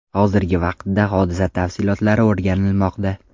Hozirgi vaqtda hodisa tafsilotlari o‘rganilmoqda.